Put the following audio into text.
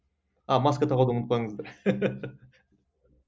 а масқа тағуды ұмытпаңыздар